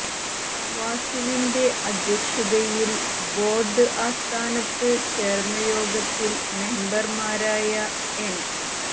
വാസുവിന്റെ അദ്ധ്യക്ഷതയിൽ ബോർഡ് ആസ്ഥാനത്ത് ചേർന്ന യോഗത്തിൽ മെമ്പർമാരായ എൻ